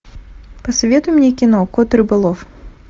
посоветуй мне кино кот рыболов